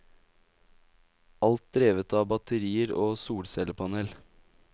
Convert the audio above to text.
Alt drevet av batterier og solcellepanel.